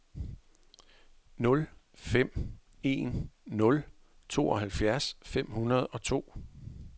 nul fem en nul tooghalvfjerds fem hundrede og to